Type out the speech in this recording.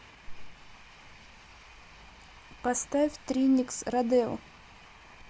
поставь триникс родео